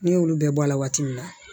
Ne y'olu bɛɛ bɔ a la waati min na